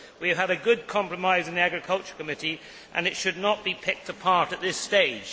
We had a good compromise in the Agriculture Committee and it should not be picked apart at this stage.